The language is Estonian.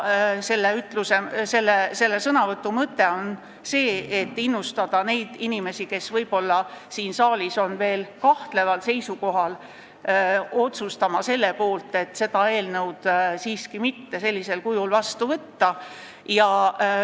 Selle sõnavõtu mõte on see, et innustada inimesi, kes võib-olla on veel kahtleval seisukohal, otsustama siin saalis selle poolt, et oleks parem seda seadust sellisel kujul siiski mitte vastu võtta.